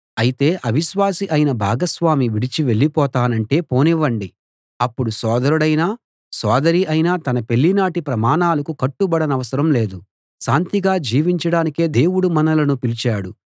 అయితే అవిశ్వాసి అయిన భాగస్వామి విడిచి వెళ్ళిపోతానంటే పోనివ్వండి అప్పుడు సోదరుడైనా సోదరి ఐనా తన పెళ్ళినాటి ప్రమాణాలకు కట్టుబడనవసరం లేదు శాంతిగా జీవించడానికే దేవుడు మనలను పిలిచాడు